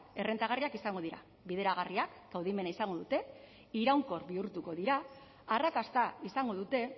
errentagarriak izango dira bideragarriak kaudimena izango dute iraunkor bihurtuko dira arrakasta izango dute